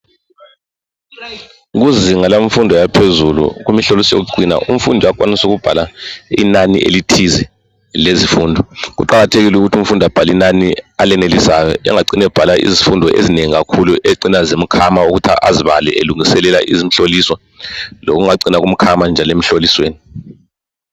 Kuzinga lemfundo yaphezulu kumhloliso yokucina umfundi uyakwanisa ukubhala inani elithize lezifundo. Kuqakathekile ukuthi umfundi abhale inani alenelisayo engacini ebhala izifundo ezinengi kakhulu ezicina zimkhama ukuthi azibale elungiselela imihloliso. Lokungacina kumkhama njalo emhlolisweni.